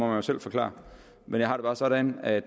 jo selv forklare men jeg har det bare sådan at